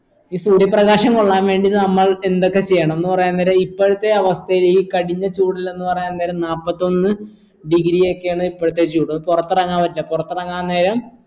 ഈ സൂര്യ പ്രകാശം കൊള്ളാൻ വേണ്ടി നമ്മൾ എന്തൊക്കെ ചെയ്യണം എന്ന് പറയാൻ നേരം ഇപ്പൾത്തെ അവസ്ഥയിൽ ഈ കഠിന ചൂടിലെന്ന് പറയാൻ നേരം നാപ്പത്തൊന്ന് degree യൊക്കെയാണ് ഇപ്പളത്തെ ചൂട് പുറത്തെറങ്ങാൻ പറ്റോ പുറത്തറങ്ങാൻ നേരം